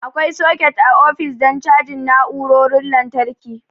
Akwai soket a ofis don cajin na'urorin lantarki.